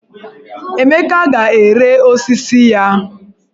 Emeka ga-ere osisi ya.